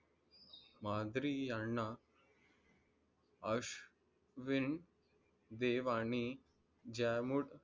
मादरी यान्हा अश्विन देव आणि जामुट